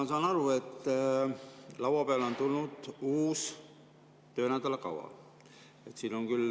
Ma saan aru, et laua peale on tulnud uus töönädala kava.